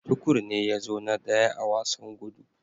Tukur ne ya zo na daya a wasan gudu.